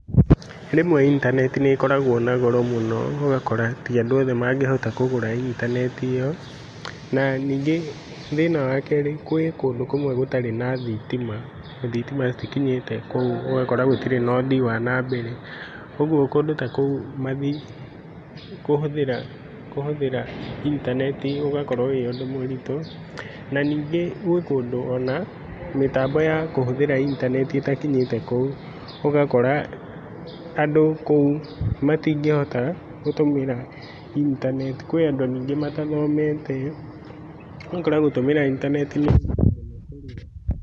Rĩmwe intanenti nĩĩkoragwo nagoro mũno, nogakora, tiandũ othe mangĩhota kũgũra intanenti ĩo, na nyingĩ, thĩna wa kerĩ gwĩ kũndũ kũmwe gũtarĩ na thitima. Thitima itikinyĩte kũu ũgakora gũtirĩ na ũthii wa na mbere. ũguo kũndũ takũu mathi, kũhũthĩra kũhũthĩra intanenti ũgakorwo wĩũndũ mũritũ, na ningĩ gũĩkũndũ ona mĩtambo ya kũhũthĩra intanenti ĩtakinyĩte kũu. ũgakora andũ kũu, matingĩhota, gũtũmĩra intanenti. Kwĩ andũ nyingĩ matathomete, ũgakora gũtũmĩra intanenti nĩũndũ mũritũ kũrĩo.